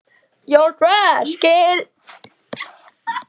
Þú þarft ekki að óttast um Björn, sagði Ari.